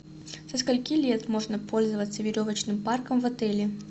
со скольки лет можно пользоваться веревочным парком в отеле